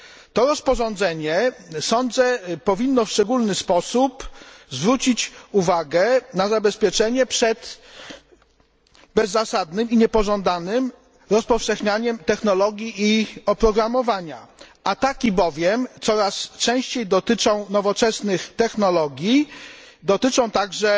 Sądzę, że to rozporządzenie powinno w szczególny sposób zwrócić uwagę na zabezpieczenie przed bezzasadnym i niepożądanym rozpowszechnianiem technologii i ich oprogramowania, ataki bowiem coraz częściej dotyczą nowoczesnych technologii, dotyczą także